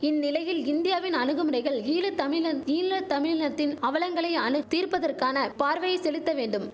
இந்நிலையில் இந்தியாவின் அணுகுமுறைகள் ஈழ தமிழன் ஈழ தமிழினத்தின் அவலங்களை அனு தீர்ப்பதற்கான பார்வையை செலுத்த வேண்டும்